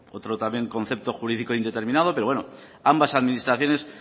otro concepto jurídico indeterminado pero bueno ambas administraciones